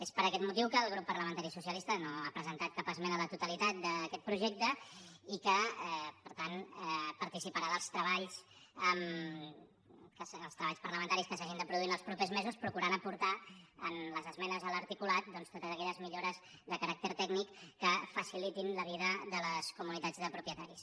és per aquest motiu que el grup parlamentari socialista no ha presentat cap esmena a la totalitat d’aquest projecte i que per tant participarà dels treballs parlamentaris que s’hagin de produir els propers mesos procurant aportar en les esmenes a l’articulat doncs totes aquelles millores de caràcter tècnic que facilitin la vida de les comunitats de propietaris